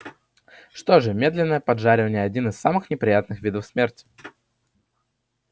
что же медленное поджаривание один из самых неприятных видов смерти